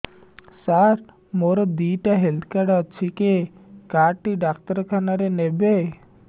ସାର ମୋର ଦିଇଟା health card ଅଛି କେ କାର୍ଡ ଟି ଡାକ୍ତରଖାନା ରେ ନେବେ